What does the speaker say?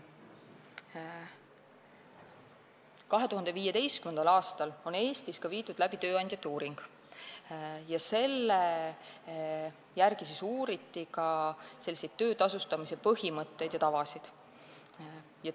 2015. aastal tehti Eestis tööandjate uuring, kus uuriti ka töötasustamise põhimõtteid ja tavasid.